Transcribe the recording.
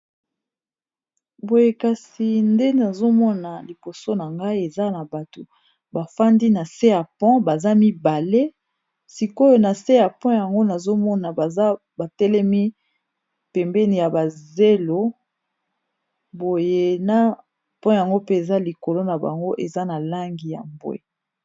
boyekasi nde nazomona liboso na ngai eza na bato bafandi na se ya pont baza mibale sikoyo na se ya pont yango nazomona baza batelemi pembeni ya bazelo boyena pont yango mpe eza likolo na bango eza na langi ya mbwe